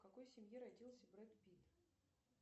в какой семье родился брэд питт